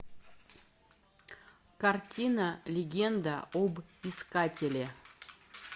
картина легенда об искателе